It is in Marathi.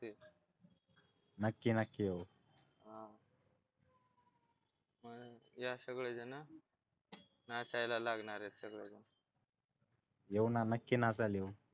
नक्की नक्की येऊ हा मग या सगळेजण नाचायला लागणार आहेत सगळेजण येऊ ना नक्की नाचायला येऊ